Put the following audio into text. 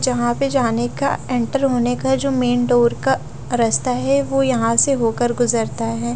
जहां पे जाने का इंटर होने का जो मैंने डोर का रास्ता है वो यहां से होकर गुजरता है।